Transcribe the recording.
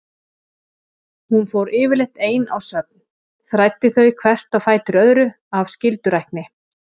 Hún fór yfirleitt ein á söfn, þræddi þau hvert á fætur öðru af skyldurækni.